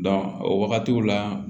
o wagatiw la